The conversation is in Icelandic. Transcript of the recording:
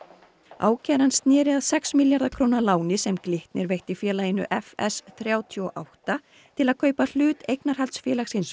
ákæran sneri að sex milljarða króna láni sem Glitnir veitti félaginu f s þrjátíu og átta til að kaupa hlut eignarhaldsfélagsins